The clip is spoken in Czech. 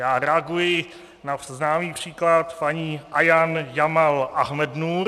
Já reaguji na známý příklad paní Ayan Jamaal Ahmednuur.